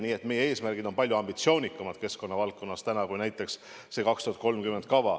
Nii et meie eesmärgid keskkonnavaldkonnas on palju ambitsioonikamad kui näiteks see kava aastaks 2030.